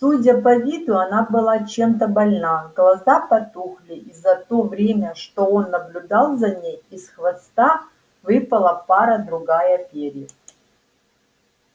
судя по виду она была чем-то больна глаза потухли и за то время что он наблюдал за ней из хвоста выпала пара-другая перьев